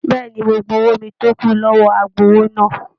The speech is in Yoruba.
Bẹ̀ẹ́ni, mo gbà owó mí tó kù lọwọ agbowó náà.